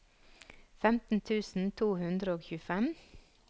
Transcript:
femten tusen to hundre og tjuefem